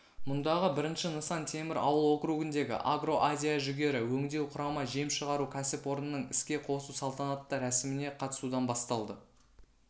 мұндағы бірінші нысан темір ауыл округіндегі агро-азия жүгері өңдеу құрама жем шығару кәсіпорнының іске қосу салтанатты рәсіміне қатысудан басталды